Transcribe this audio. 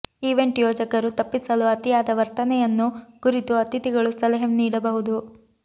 event ಯೋಜಕರು ತಪ್ಪಿಸಲು ಅತಿಯಾದ ವರ್ತನೆಯನ್ನು ಕುರಿತು ಅತಿಥಿಗಳು ಸಲಹೆ ನೀಡಬಹುದು